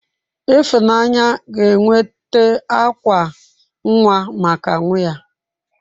Ifunanya ga enweta akwa nnwa maka nwa ya.